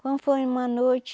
Quando foi uma noite,